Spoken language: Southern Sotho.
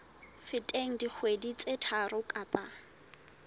feteng dikgwedi tse tharo kapa